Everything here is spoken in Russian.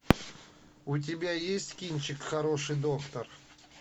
у тебя есть кинчик хороший доктор